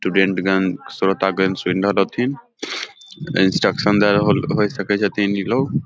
स्टूडेंटगण श्रोतागण सुन रहल हथीन इंस्ट्रक्शन दे रहल होइ सके छैथिन ई लोग।